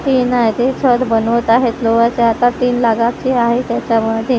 तीन आहेत ते छत बनवत आहेत जवळचे तीन लागायची आहेत त्याच्यामुळे ते --